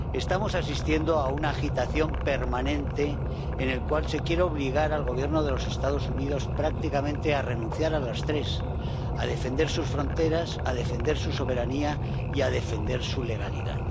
Estamos asistiendo a una agitación permanente en la cual se quiere obligar al Gobierno de Estados Unidos prácticamente a renunciar a las tres a defender sus fronteras, a defender su soberanía y a defender su legalidad.